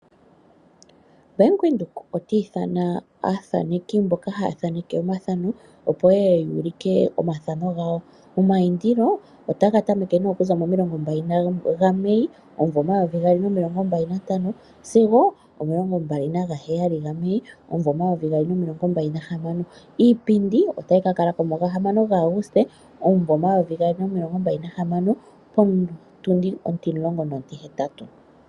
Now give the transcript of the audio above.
Bank Windhoek ota ithana aathaneki mboka haya thaneke omathano opo yeye ya ulike omathano gawo. Omayindilo otaga tameke okuza momilongo mbali gaMei omumvo omayovi gaali nomilongo mbali na ntano, sigo omilongo mbali naga heyali gaMei omumvo omayovi gaali nomilongo mbali nahamano, iipindi otayi ka alako mu gahamano gaAguste omumvo omayovi gaali nomilongo mbali nahamano, potundi ontimulongo nontihetatu.